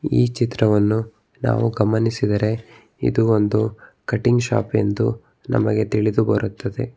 ಈ ಚಿತ್ರವನ್ನು ನಾವು ಗಮನಿಸಿದರೆ ಇದು ಒಂದು ಇದು ಒಂದು ಕಟಿಂಗ್ ಶಾಪ್ ಎಂದು ನಮಗೆ ತಿಳಿದು ಬರುತ್ತದೆ.